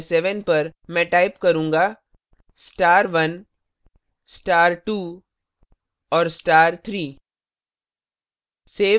मैं type करूंगा star 1 star 2 और star 3;